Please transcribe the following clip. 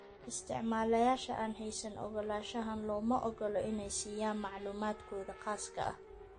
Isticmaalayaasha aan haysan ogolaanshahan looma ogola inay na siiyaan macluumaadkooda khaaska ah.